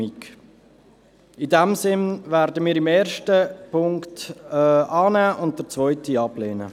In diesem Sinn werden wir die Ziffer 1 annehmen und die Ziffer 2 ablehnen.